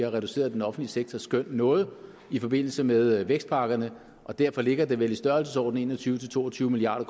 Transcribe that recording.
har reduceret den offentlige sektors skøn noget i forbindelse med vækstpakkerne og derfor ligger det vel i størrelsesordenen en og tyve til to og tyve milliard